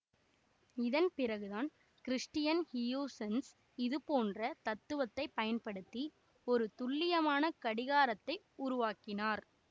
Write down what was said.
இதன் பிறகுதான் Christiaan Huygens இதுபோன்ற தத்துவத்தை பயன்படுத்தி ஒரு துல்லியமான கடிகாரத்தை உருவாக்கினார்